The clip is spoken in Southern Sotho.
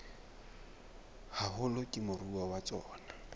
haholo ke moruo wa tsona